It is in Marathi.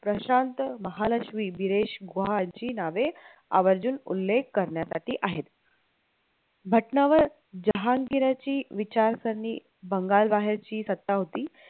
प्रशांत लहालक्ष्मी, विरेश गुहाची नावे राजं आवर्जून उल्लेख करण्यासाठी आहे, भटनावर जहांगीराची विचारकारणी बंगाल बाहेरची सत्ता होती